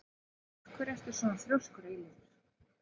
Af hverju ertu svona þrjóskur, Eilífur?